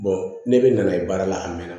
ne bɛ na ye baara la a mɛnna